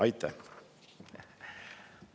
Aitäh!